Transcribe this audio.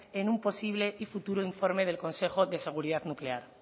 en un posible y futuro informe del consejo de seguridad nuclear